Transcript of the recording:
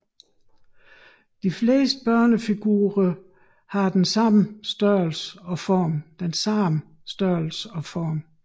De fleste børnefigurer har den samme størrelse og form